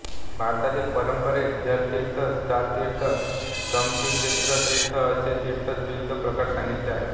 भारतातील परंपरेत जलतीर्थ स्थालतीर्थकामतीर्थमोक्षतीर्थ असे तीर्थचे विविध प्रकार सांगितले आहे